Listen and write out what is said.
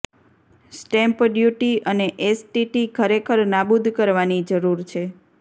stamp duty અને STT ખરેખર નાબૂદ કરવાની જરૂર છે